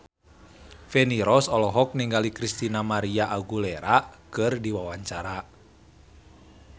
Feni Rose olohok ningali Christina María Aguilera keur diwawancara